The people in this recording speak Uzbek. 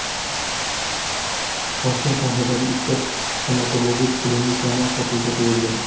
Toshkent shahridagi ikkita stomatologik klinikani sotuvga qo‘yildi.